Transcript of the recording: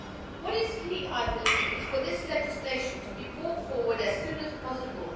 What is key, I believe, is for this legislation to be brought forward as soon as possible.